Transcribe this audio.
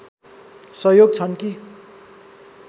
सहयोग छन् कि